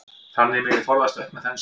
Þannig megi forðast aukna þenslu.